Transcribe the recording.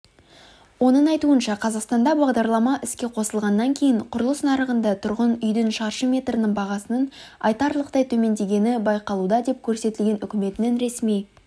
оның айтуынша қазақстанда бағдарлама іске қосылғаннан кейін құрылыс нарығында тұрғын үйдің шаршы метрінің бағасының айтарлықтай төмендегені байқалуда деп көрсетілген үкіметінің ресми